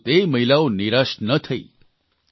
પરંતુ તે મહિલાઓ નિરાશ ન થઇ